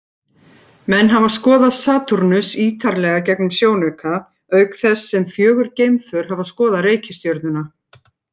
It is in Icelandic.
Menn hafa skoðað Satúrnus ýtarlega gegnum sjónauka, auk þess sem fjögur geimför hafa skoðað reikistjörnuna.